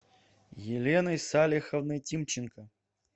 еленой салиховной тимченко